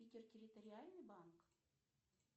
питер территориальный банк